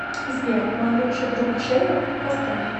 сбер мой лучший друг шейвек поставь